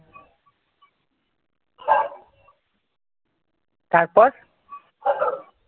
তারপর